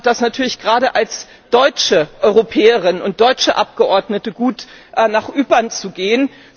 Ich fand es natürlich gerade als deutsche Europäerin und deutsche Abgeordnete gut, nach Ypern zu gehen.